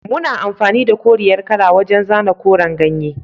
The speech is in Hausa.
Muna amfani da koriyar kala wajan zana koren ganye